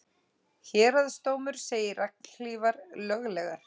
Héraðsdómur segir regnhlífar löglegar